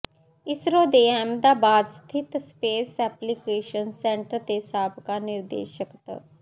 ਇਸਰੋ ਦੇ ਅਹਿਮਦਾਬਾਦ ਸਥਿਤ space application centre ਦੇ ਸਾਬਕਾ ਨਿਰਦੇਸ਼ਕ ਤ